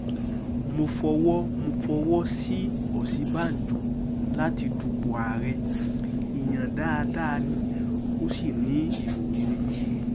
mo fọwọ́ mo fọwọ́ sí ọ̀sínbàjò láti dúpọ̀ àárẹ̀ èèyàn dáadáa ni ó sì ní èrò rere